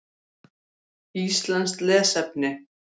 Íslenskt lesefni: